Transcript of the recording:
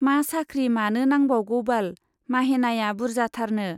मा साख्रि मानो नांबावगौबाल, माहेनाया बुर्जाथारनो।